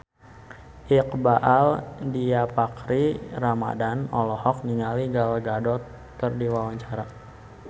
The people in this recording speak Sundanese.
Iqbaal Dhiafakhri Ramadhan olohok ningali Gal Gadot keur diwawancara